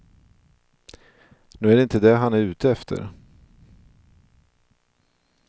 Nu är det inte det han är ute efter.